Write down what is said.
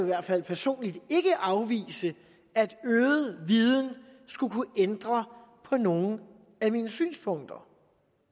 hvert fald personligt ikke afvise at øget viden skulle kunne ændre på nogle af mine synspunkter